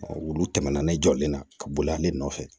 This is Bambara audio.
wulu tɛmɛna ne jɔlen na ka boli ale nɔfɛ